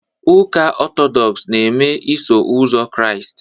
Ụka Ọtọdọks na-eme Iso Ụzọ Kraịst